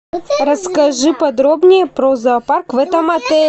расскажи подробнее про зоопарк в этом отеле